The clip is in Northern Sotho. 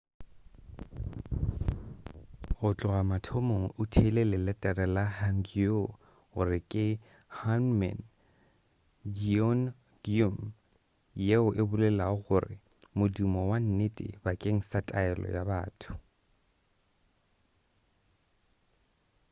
go tloga mathomong o theile leletere la hangeul gore ke hunmin jeongeum yeo e bolelago gore modumo wa nnete bakeng sa taelo ya batho